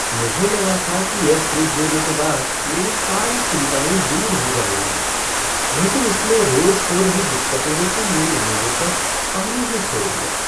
मुझे लगा था कि यह फ़्रिज लेने के बाद मेरी सारी चिंताएं दूर हो जाएंगी, लेकिन इसमें रोज़ हो रही दिक्कतों ने तो मेरी उम्मीदों पर पानी ही फेर दिया।